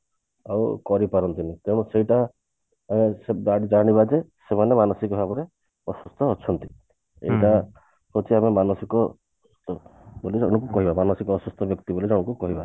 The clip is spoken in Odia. ଆଉ କରି ପାରନ୍ତିନୀ ତେଣୁ ସେଇଟା ଆ ଆମେ ଯା ଜାଣିବା ଯେ ସେମାନେ ମାନସିକ ଭାବରେ ଅସୁସ୍ଥ ଅଛନ୍ତି ଏଇଟା ହଉଛି ଆମ ମାନସିକ ମାନସିକ ଅସୁସ୍ଥ ବ୍ୟକ୍ତି ମାନଙ୍କୁ ତାଙ୍କୁ କହିବା